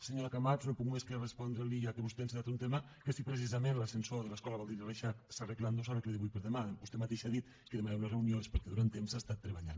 senyora camats no puc més que respondre li ja que vostè ha encetat un tema que si precisament l’ascensor de l’escola baldiri reixach s’ha arreglat no s’ha d’aclarir avui per demà vostè mateixa ha dit que demanarà una reunió és perquè durant temps s’ha estat treballant